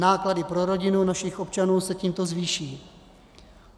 Náklady pro rodiny našich občanů se tímto zvýší.